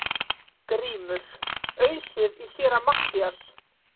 GRÍMUR: Ausið í Séra Matthías!